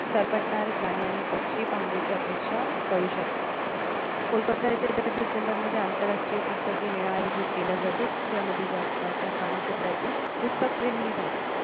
सरपटणारे प्राणी पक्षी पाहण्याची अपेक्षा करू शकता. कोलकत्ता येथे दर डिसेंबर मध्ये आंतरराष्ट्रीय पुस्तके मेळावा आयोजित केला जातो. ज्यामध्ये जगाच्या कानाकोपर्यातील पुस्तक प्रेमी येतात